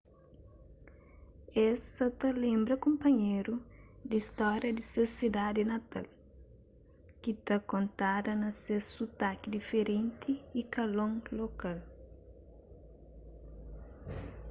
es sa ta lenbra kunpanheru di stória di ses sidadi natal ki ta kontada na ses sutaki diferenti y kalon lokal